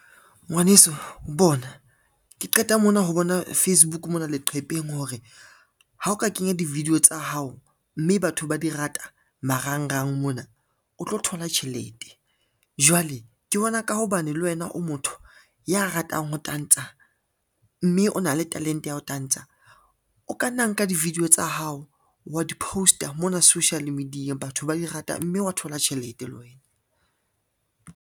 Ngwaneso bona ke qeta mona ho bona Facebook mona leqhepeng hore ha o ka kenya di-video tsa hao, mme batho ba di rata marangrang mona o tlo thola tjhelete. Jwale ke bona ka ho ba bane le wena o motho ya ratang ho tantsha, mme o na le talente ya ho tantsha, o ka nna nka di-video tsa hao wa di-post-a mona social media batho ba di rata, mme wa thola tjhelete le wena.